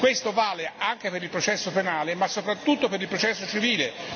Questo vale anche per il processo penale ma, soprattutto, per il processo civile.